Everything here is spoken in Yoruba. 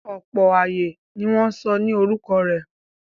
Ọ̀pọ̀ ààyè ni wọ́n sọ ní orúkọ rẹ̀.